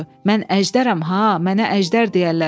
Mən əjdərəm ha, mənə əjdər deyərlər.